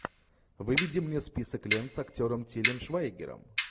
выведи мне список лент с актером тилем швайгером